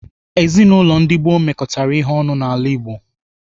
Ezinaụlọ ndi gboo mekọtara ihe ọnụ n'ala Igbo.